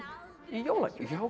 í jólagjöf